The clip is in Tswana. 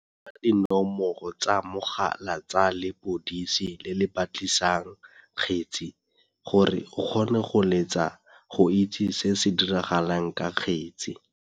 Kopa dinomoro tsa mogala tsa lepodisi le le batlisisang kgetse, gore o kgone go letsa go itse se se diragalang ka kgetse.